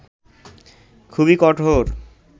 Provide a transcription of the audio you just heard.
খুবই কঠোর